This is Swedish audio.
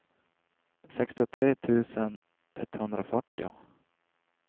sextiotre tusen etthundrafyrtio